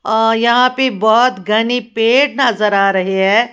और यहां पे बहोत घने पेड़ नजर आ रहे है।